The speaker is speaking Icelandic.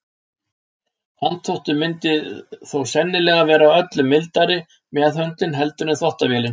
handþvottur myndi þó sennilega vera öllu mildari meðhöndlun heldur en þvottavélin